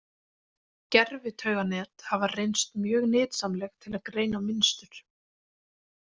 Gervitauganet hafa reynst mjög nytsamleg til að greina mynstur.